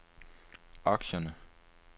aktierne